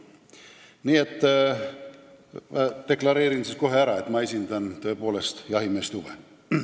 Nii et deklareerin kohe ära, et ma esindan siin tõepoolest jahimeeste huve.